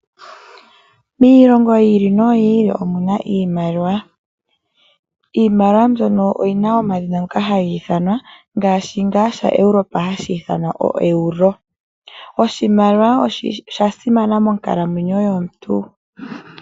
Miilongo yi ili noyi ili omuna iimaliwa, iimaliwa mbyono oyina omadhina ngoka hayi ithanwa ngaashi ngaa shaEuropa hashi ithanwa ouero oshimaliwa osha simana monkalamwenyo yomuntu.